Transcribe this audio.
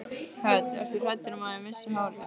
Hödd: Ert þú hræddur um að missa hárið?